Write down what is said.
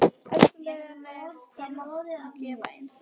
Elskulega nef þú mátt þefa eins lengi og þú vilt.